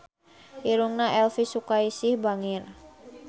Irungna Elvy Sukaesih bangir